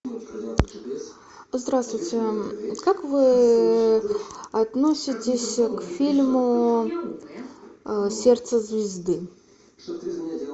здравствуйте как вы относитесь к фильму сердце звезды